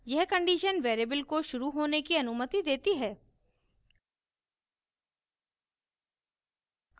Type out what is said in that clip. यह condition variable को शुरू होने की अनुमति देती है